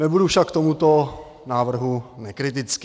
Nebudu však k tomuto návrhu nekritický.